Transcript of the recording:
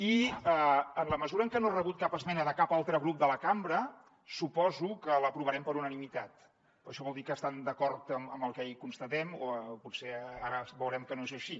i en la mesura en què no he rebut cap esmena de cap altre grup de la cambra suposo que l’aprovarem per unanimitat perquè això vol dir que estan d’acord amb el que hi constatem o potser ara veurem que no és així